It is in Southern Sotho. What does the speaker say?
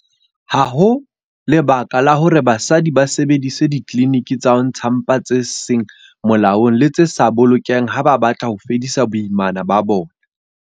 Ha ho lebaka la hore basadi ba sebedise ditliliniki tsa ho ntsha mpa tse seng molaong le tse sa bolokehang ha ba batla ho fedisa boimana ba bona.